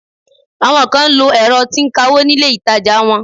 Àwọn kan ń lo ẹ̀rọ tí ń kawó nílé ìtajà wọn.